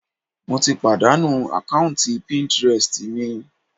Mo ti pàdánù àkáùntì píntírẹstì mi.